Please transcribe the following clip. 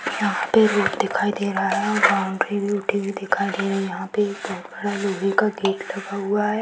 यहाँ पे रोड दिखाई दे रहा है वहाँ पे दिखाई दे रही है यहाँ पे एक बहुत बड़ा लोहे का गेट भी लगा हुआ है ।